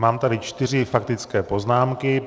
Mám tady čtyři faktické poznámky.